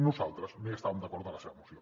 nosaltres no hi estàvem d’acord amb la seva moció